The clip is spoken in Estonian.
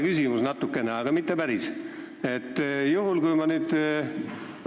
Mul on natuke, aga mitte päris sarnane küsimus.